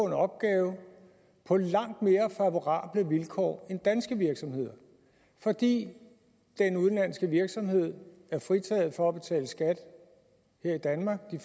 en opgave på langt mere favorable vilkår end danske virksomheder fordi den udenlandske virksomhed er fritaget for at betale skat her i danmark i